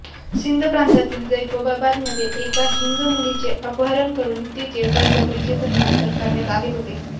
सिंध प्रांतातील जैकोबाबादमध्ये एका हिंदू मुलीचे अपहरण करून तिचे बळजबरीचे धर्मांतर करण्यात आले होते